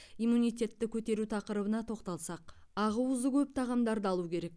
иммунитетті көтеру тақырыбына тоқталсақ ақуызы көп тағамдарды алу керек